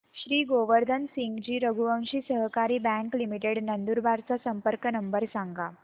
श्री गोवर्धन सिंगजी रघुवंशी सहकारी bank limited Nandurbar चा संपर्क नंबर सांगा